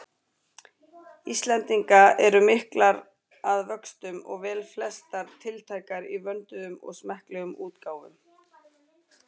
Íslendinga eru miklar að vöxtum og velflestar tiltækar í vönduðum og smekklegum útgáfum.